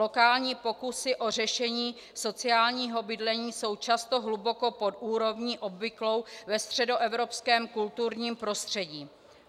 Lokální pokusy o řešení sociálního bydlení jsou často hluboko pod úrovní obvyklou ve středoevropském kulturním prostředí.